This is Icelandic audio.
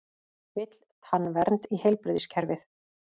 Vill tannvernd í heilbrigðiskerfið